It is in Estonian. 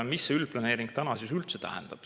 Mis see üldplaneering täna siis üldse tähendab?